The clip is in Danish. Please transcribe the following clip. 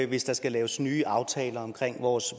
hvis der skal laves nye aftaler om vores